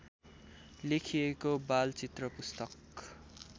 लेखिएको बालचित्र पुस्तक